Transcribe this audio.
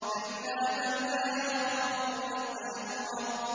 كَلَّا ۖ بَل لَّا يَخَافُونَ الْآخِرَةَ